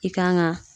I kan ga